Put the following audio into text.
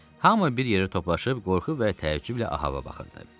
Hamı bir yerə toplaşıb, qorxu və təəccüblə Ahava baxırdı.